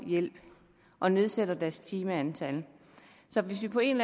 hjælp og nedsætter deres timetal så hvis vi på en